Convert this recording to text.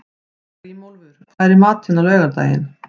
Grímólfur, hvað er í matinn á laugardaginn?